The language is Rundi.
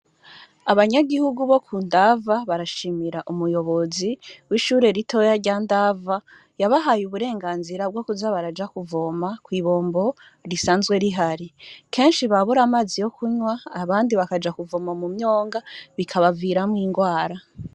Abanyagihugu bo ku Ndava barashimira umuyobozi w'ishure ritoya rya Ndava, yabahaye uburenganzira bwo kuza baraja kuvoma kw'ibombo risanzwe rihari .Kenshi babura amazi yo kunywa, abandi bakaja kuvoma mu mu m'yonga bikabaviramwo ingwara.